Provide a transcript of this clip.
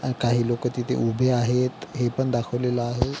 आणि काही लोक तिथ उभे आहेत हे पण दाखवलेल आहे.